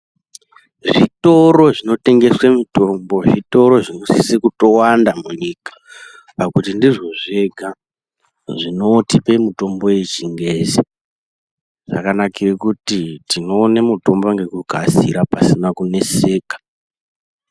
Zvitoro zvinotengesa mitombo, zvitoro zvonosise kutokuwanda munyika, pakuti ndizvo zvega zvinotipe mutombo yechingezi ,zvakanakire kuti tinoone mutombo ngekukasira pasina kuneseka.